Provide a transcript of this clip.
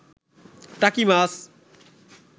টাকি মাছ